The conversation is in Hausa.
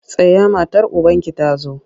Tsaya matar ubanki ta zo!